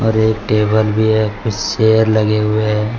ऊपर एक टेबल भी है कुछ चेयर लगे हुए हैं।